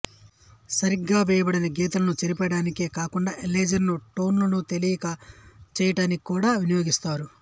సరిగా వేయబడని గీతలను చెరిపేయటానికే కాకుండా ఎరేజర్ లను టోన్ లను తేలిక చేయటానికి కూడా వినియోగిస్తారు